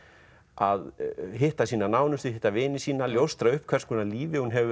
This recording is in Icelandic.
að hitta sína nánustu hitta vini sína ljóstra upp hvers konar lífi hún hefur